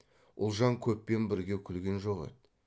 ұлжан көппен бірге күлген жоқ еді